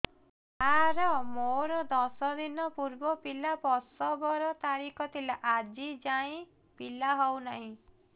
ସାର ମୋର ଦଶ ଦିନ ପୂର୍ବ ପିଲା ପ୍ରସଵ ର ତାରିଖ ଥିଲା ଆଜି ଯାଇଁ ପିଲା ହଉ ନାହିଁ